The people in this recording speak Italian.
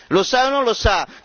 Lo sa o non lo sa?